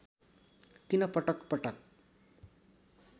किन पटक पटक